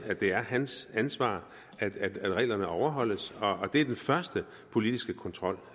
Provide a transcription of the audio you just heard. at det er hans ansvar at reglerne overholdes og det er den første politiske kontrol